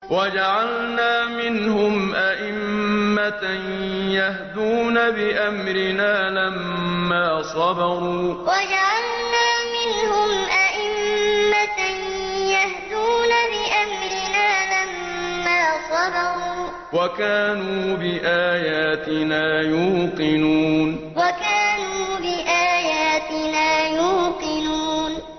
وَجَعَلْنَا مِنْهُمْ أَئِمَّةً يَهْدُونَ بِأَمْرِنَا لَمَّا صَبَرُوا ۖ وَكَانُوا بِآيَاتِنَا يُوقِنُونَ وَجَعَلْنَا مِنْهُمْ أَئِمَّةً يَهْدُونَ بِأَمْرِنَا لَمَّا صَبَرُوا ۖ وَكَانُوا بِآيَاتِنَا يُوقِنُونَ